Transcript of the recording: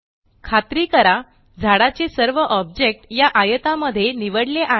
खात्री करा झाडाचे सर्व ऑब्जेक्ट या आयतामध्ये निवडले आहेत